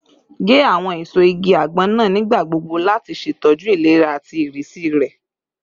Ge awọn eso igi agbon naa nigbagbogbo lati ṣetọju ilera ati irisi rẹ